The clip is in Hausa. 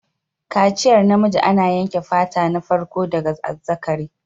Kaciyar namiji ana yanke fata na farko daga azzakari.